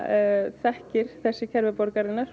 þekkir þessi kerfi borgarinnar